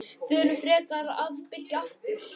Förum frekar að byggja aftur.